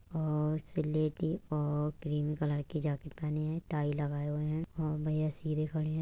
अ सिलेटी अ cream colour की जकिट पहने हैं टाई लगाए हुए हैं और भइया सीधे खड़े हैं।